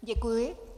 Děkuji.